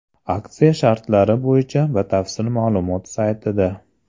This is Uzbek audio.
Aksiya shartlari bo‘yicha batafsil ma’lumot saytida.